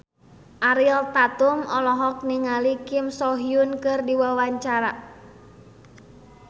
Ariel Tatum olohok ningali Kim So Hyun keur diwawancara